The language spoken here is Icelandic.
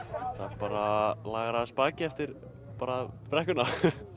bara lagar aðeins bakið eftir brekkuna